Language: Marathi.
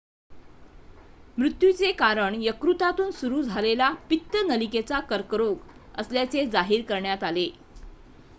मृत्यूचे कारण यकृतातून सुरू झालेला पित्त नलिकेचा कर्करोग असल्याचे जाहीर करण्यात आले